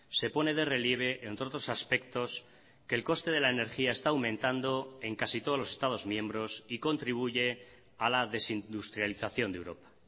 se pone de relieve entre otros aspectos que el coste de la energía está aumentando en casi todos los estados miembros y contribuye a la desindustrialización de europa